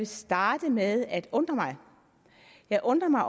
starte med at undre mig jeg undrer mig